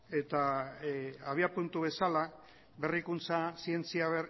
eta abiapuntu bezala berrikuntza zientzia